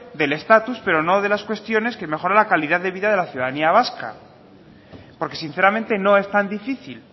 del estatus pero no de las cuestiones que mejoran la calidad de vida de la ciudadanía vasca porque sinceramente no es tan difícil